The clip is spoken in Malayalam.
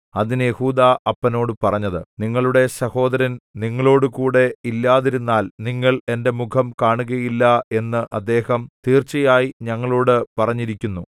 അതിന് യെഹൂദാ അപ്പനോട് പറഞ്ഞത് നിങ്ങളുടെ സഹോദരൻ നിങ്ങളോടുകൂടെ ഇല്ലാതിരുന്നാൽ നിങ്ങൾ എന്റെ മുഖം കാണുകയില്ല എന്ന് അദ്ദേഹം തീർച്ചയായി ഞങ്ങളോടു പറഞ്ഞിരിക്കുന്നു